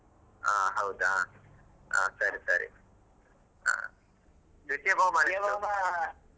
ಹ ಹೌದಾ ಹ ಸರಿ ಸರಿ ದ್ವಿತೀಯ .